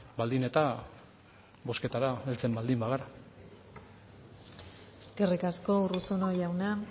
baldin eta bozketara heltzen baldin bagara eskerrik asko urruzuno jauna